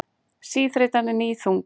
Þreytan er níðþung.